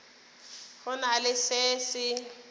go na le se se